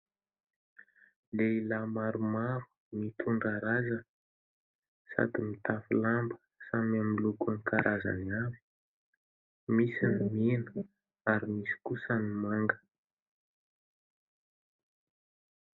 Lehilahy maromaro, mitondra razana sady mitafy lamba samy amin'ny lokony karazany avy misy ny mena ary misy kosa ny manga.